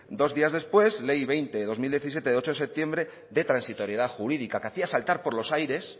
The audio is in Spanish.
dos días después ley veinte barra dos mil diecisiete de ocho de septiembre de transitoriedad jurídica que hacía saltar por los aires